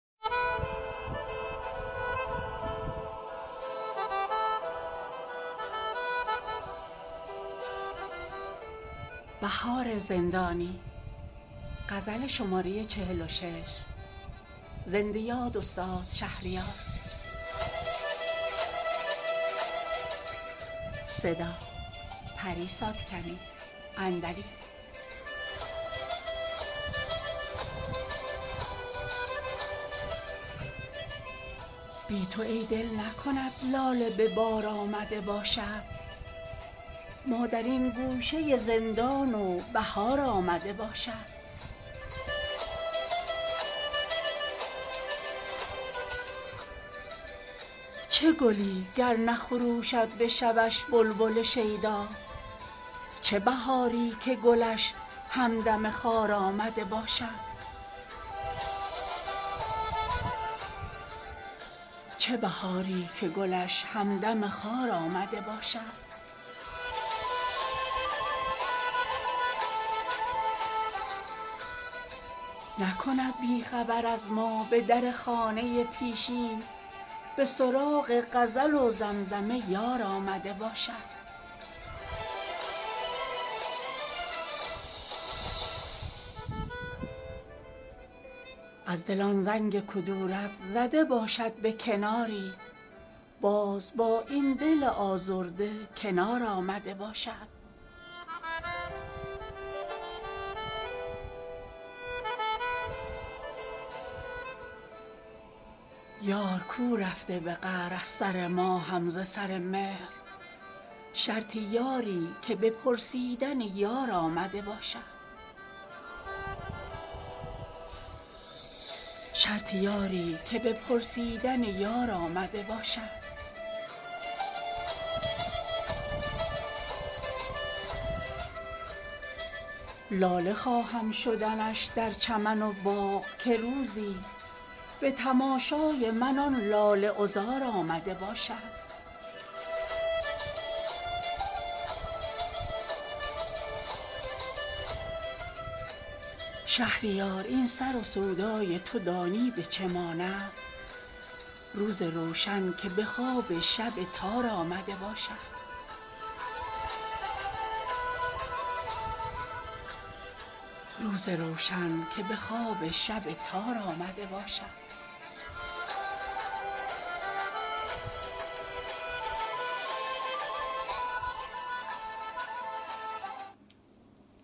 بی تو ای دل نکند لاله به بار آمده باشد ما در این گوشه زندان و بهار آمده باشد چه گلی گر نخروشد به شبش بلبل شیدا چه بهاری که گلش همدم خار آمده باشد نکند بی خبر از ما به در خانه پیشین به سراغ غزل و زمزمه یار آمده باشد از دل آن زنگ کدورت زده باشد به کناری باز با این دل آزرده کنار آمده باشد اینش آغوش وطن گر که در آن گردش خاطر نوبت خاطره یار و دیار آمده باشد یار کو رفته به قهر از سر ما هم ز سر مهر شرط یاری که به پرسیدن یار آمده باشد در دماغ دل از آن غالیه زلف هنوزم گوییا قافله مشک تتار آمده باشد زلف شیرین که کمندی ست شکارافکن و شاهین شرطش این است که خسرو به شکار آمده باشد لاله خواهم شدنش در چمن و باغ که روزی به تماشای من آن لاله عذار آمده باشد چه به نوشینی آن شربت مرگم که نگارین با گل و شمع حزینم به مزار آمده باشد جان به زندان تن سوخته می خواستی ای دل جز پی داغ تو دیدن به چه کار آمده باشد شهریار این سر و سودای تو دانی به چه ماند روز روشن که به خواب شب تار آمده باشد